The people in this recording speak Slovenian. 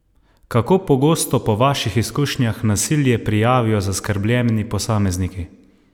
Kako pogosto po vaših izkušnjah nasilje prijavijo zaskrbljeni posamezniki?